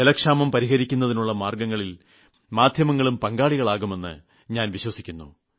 ജലക്ഷാമം പരിഹരിക്കുതിനുള്ള മാർഗ്ഗങ്ങളിൽ മാധ്യമങ്ങളും പങ്കാളികളാകുമെന്ന് ഞാൻ വിശ്വസിക്കുന്നു